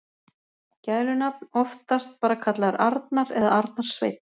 Gælunafn: Oftast bara kallaður Arnar eða Arnar Sveinn.